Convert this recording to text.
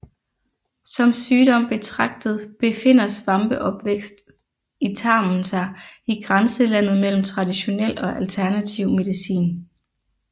Som sygdom betragtet befinder svampeovervækst i tarmen sig i grænselandet mellem traditionel og alternativ medicin